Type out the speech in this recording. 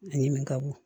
A ɲimi ka bon